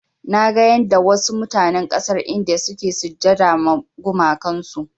Naga yanda wasu mutanen ƙasar India suke sujjada ma gumakan su.